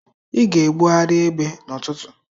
Ị ga-ebugharị ebe n'ụtụtụ!